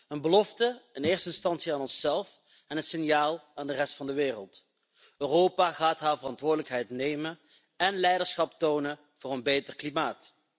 Een belofte, in eerste instantie aan onszelf, en een signaal aan de rest van de wereld Europa gaat haar verantwoordelijkheid nemen en leiderschap tonen voor een beter klimaat.